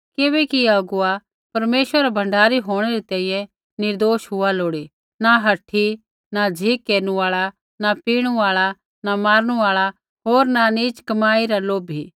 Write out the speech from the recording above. किबैकि अगुवा बै परमेश्वरै रा भण्डारी होंणै री तैंईंयैं निर्दोष हुआ लोड़ी न हठी न झ़िक केरनु आल़ा न पीणू आल़ा न मारनू आल़ा होर न नीच कमाई रा लोभी